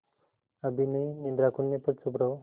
अभी नहीं निद्रा खुलने पर चुप रहो